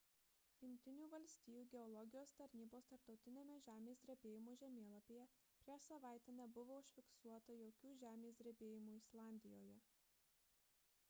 jungtinių valstijų geologijos tarnybos tarptautiniame žemės drebėjimų žemėlapyje prieš savaitę nebuvo užfiksuota jokių žemės drebėjimų islandijoje